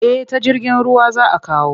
Eh ta jirgin ruwa za a kawo.